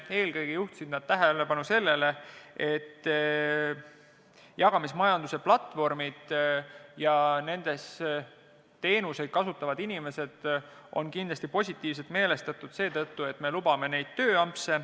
Eelkõige juhtisid nad tähelepanu sellele, et jagamismajanduse platvormid ja nendes teenuseid kasutavad inimesed on kindlasti positiivselt meelestatud seetõttu, et me lubame tööampse.